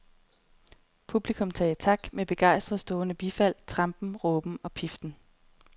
Publikum sagde tak med begejstret stående bifald, trampen, råben og piften.